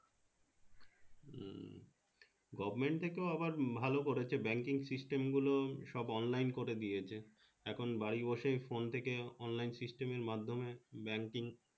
Goverment এ তো আবার ভালো করেছে Banking system গুলো সব Online করে দিয়েছে এখন বাড়ি বসে phone থেকে Online system এর মাধ্যমে Banking